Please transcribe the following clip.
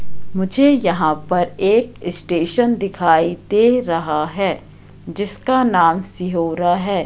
मुझे यहाँ पर एक इस्टेशन दिखाई दे रहा हैं जिसका नाम सिहोरा हैं।